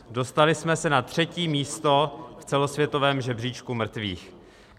Dostali jsme se na třetí místo v celosvětovém žebříčku mrtvých.